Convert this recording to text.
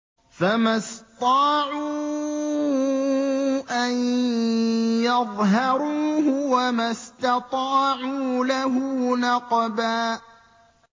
فَمَا اسْطَاعُوا أَن يَظْهَرُوهُ وَمَا اسْتَطَاعُوا لَهُ نَقْبًا